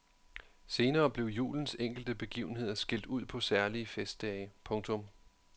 Senere blev julens enkelte begivenheder skilt ud på særlige festdage. punktum